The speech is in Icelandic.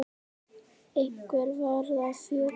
Einhver varð að fjúka.